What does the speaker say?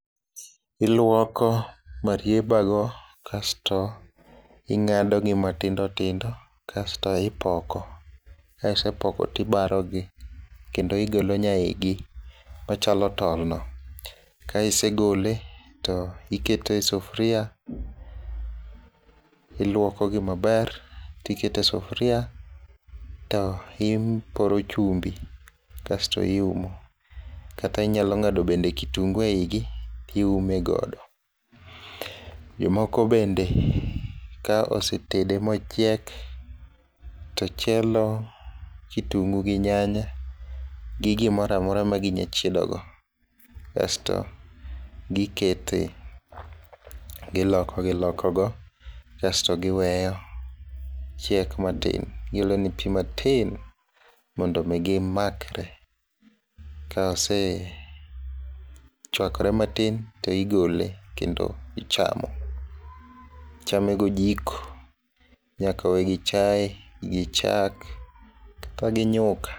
iluoko marieba go kasto ing'ado gi matindo tindo kasto ipoko ,ka isepoko to ibaro gi kendo igolo nya igi machalo tol no, ka isegole to ikete sufria ,iluoko gi maber tikete sufria to iporo chumbi kasto iumo kata inyalo bende ng'ado kitungu e igi ti ume godo ,jomoko bende ka osetedo mochiek to chielo kitungu gi nyanya gi gimora mora magi nya chiedo go kasto gikete goloko giloko go kasto giweyo chiek matin gi olo ne pi matin mondo mi gimakre ,ka osechuakore matin to igole kendo ichamo ,ichamo go jiko ,inya kowe gi chae gi chak kata gi nyuka.